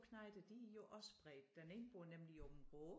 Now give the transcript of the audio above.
Knejte de er jo også spredt den ene bor nemlig i Aabenraa